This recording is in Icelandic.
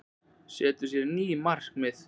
Setur sér ný markmið